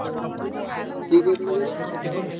ହୁଁ କିଏ କହୁଥିଲ କହନି ଜାଣି ପାରୁନି।